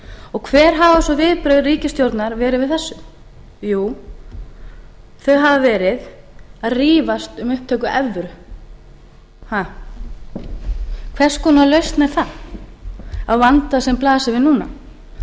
og hver hafa svo viðbrögð ríkisstjórnarinnar verið við þessu jú þau hafa verið að rífast um upptöku evru hvers konar lausn er það á vanda sem blasir við núna